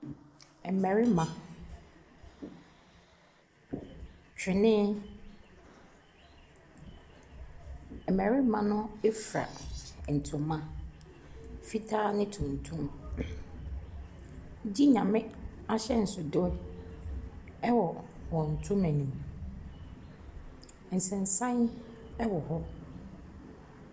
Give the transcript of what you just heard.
Ɛmarima, twenee. ɛmarima no ɛfira ntoma, fitaa ne tuntum. Gye Nyame ahyɛnsodew ɛwɔ wɔn ntoma nim. Nsensan ɛwɔ hɔ.